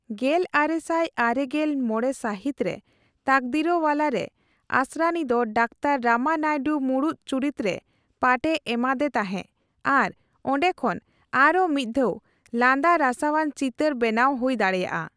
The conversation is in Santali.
ᱜᱮᱞᱟᱨᱮᱥᱟᱭ ᱟᱨᱮᱜᱮᱞ ᱢᱚᱲᱮ ᱥᱟᱦᱤᱛ ᱨᱮ 'ᱛᱟᱠᱫᱤᱨᱳᱣᱟᱞᱟ'ᱼ ᱨᱮ ᱟᱥᱨᱟᱱᱤ ᱫᱚ ᱰᱟᱠᱛᱟᱨ ᱨᱟᱢᱟᱱᱟᱭᱰᱩ ᱢᱩᱲᱩᱫ ᱪᱩᱨᱤᱛ ᱨᱮ ᱯᱟᱴᱷ ᱮ ᱮᱢᱟᱫᱮ ᱛᱟᱸᱦᱮ ᱟᱨ ᱚᱱᱰᱮ ᱠᱷᱚᱱ ᱟᱨᱦᱚᱸ ᱢᱤᱛᱫᱷᱟᱣ ᱞᱟᱸᱫᱟᱼᱨᱟᱥᱟᱣᱟᱱ ᱪᱤᱛᱟᱹᱨ ᱵᱮᱱᱟᱣ ᱦᱩᱭ ᱫᱟᱲᱮᱭᱟᱜᱼᱟ ᱾